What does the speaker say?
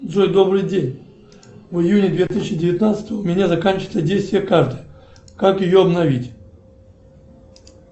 джой добрый день в июне две тысячи девятнадцатого у меня заканчивается действие карты как ее обновить